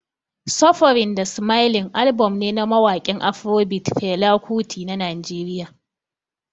Suffering da Smiling album ne na mawakin Afrobeat Fela Kuti na Najeriya